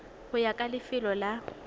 go ya ka lefelo la